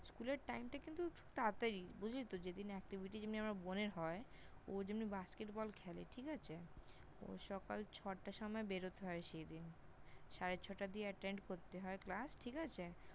School এর Time টা কিন্তু তাড়াতাড়ি বুঝলি তো? যেদিন Activity যেমনি আমার বোনের হয়, ও যেমনি Basket Ball খেলে, ঠিক আছে? ও সকাল ছ-টার সময় বেরোতে হয় সেইদিন, সাড়ে ছ-টা দিয়ে Attend করতে হয় Class, ঠিক আছে?